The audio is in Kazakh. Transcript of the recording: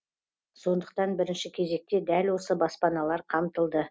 сондықтан бірінші кезекте дәл осы баспаналар қамтылды